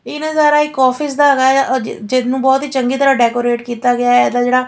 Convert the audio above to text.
ਇਹ ਨਜ਼ਾਰਾ ਇੱਕ ਆਫਿਸ ਦਾ ਹੈਗਾ ਆ ਜਿਹਨੂੰ ਬਹੁਤ ਹੀ ਚੰਗੀ ਤਰ੍ਹਾਂ ਡੇਕੋਰੇਤ ਕੀਤਾ ਗਿਆ ਇਹਦਾ ਜਿਹੜਾ --